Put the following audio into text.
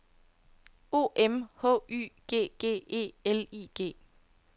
O M H Y G G E L I G